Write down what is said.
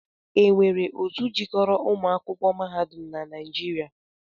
E nwere otu jikoro umuakwụkọ na mahadum naịjịria?